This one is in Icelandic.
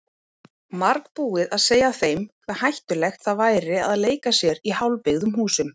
Margbúið að segja þeim hve hættulegt það væri að leika sér í hálfbyggðum húsum.